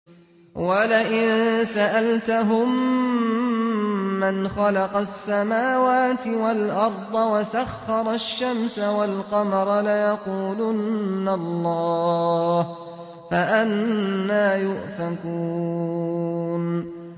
وَلَئِن سَأَلْتَهُم مَّنْ خَلَقَ السَّمَاوَاتِ وَالْأَرْضَ وَسَخَّرَ الشَّمْسَ وَالْقَمَرَ لَيَقُولُنَّ اللَّهُ ۖ فَأَنَّىٰ يُؤْفَكُونَ